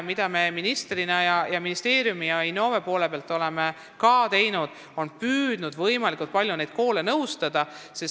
Samuti oleme ministeeriumi ja Innove poole pealt püüdnud ka võimalikult palju koole nõustada.